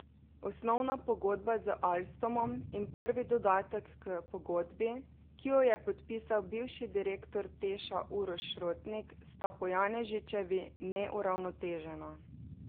Osnovna pogodba z Alstomom in prvi dodatek k pogodbi, ki ju je podpisal bivši direktor Teša Uroš Rotnik, sta po Janežičevi neuravnotežena.